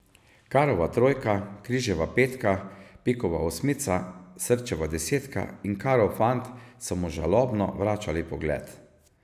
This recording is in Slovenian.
Karova trojka, križeva petka, pikova osmica, srčeva desetka in karov fant so mu žalobno vračali pogled.